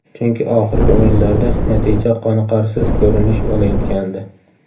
Chunki oxirgi o‘yinlarda natija qoniqarsiz ko‘rinish olayotgandi.